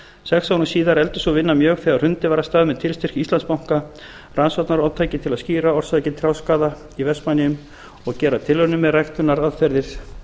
sex árum síðar efldist sú vinna mjög þegar hrundið var af stað með tilstyrk íslandsbanka rannsóknarátaki til að skýra orsakir trjáskaða í vestmannaeyjum og gera tilraunir með ræktunaraðferðir